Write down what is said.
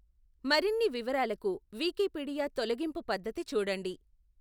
మరిన్ని వివరాలకు వికీపీడియా తొలగింపు పద్ధతి చూడండి.